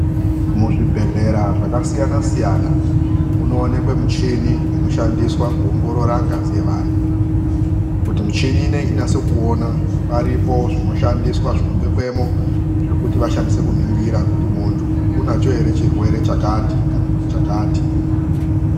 Muzvibhedhlera zvakasiyana siyana munoonekwe michini inoshandiswa kuongorora ngazi yevantu. Kuti michini ineyi inase kuona paripo zvinoshandiswa zvinobekemwo zvokuti vashandise kuningira kuti muntu anacho ere chirwere chakati kana kuti chakati.